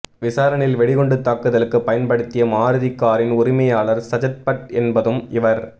விசாரணையில் வெடிகுண்டு தாக்குதலுக்கு பயன்படுத்திய மாருதி காரின் உரிமையாளர் சஜத்பட் என்பதும் இவர்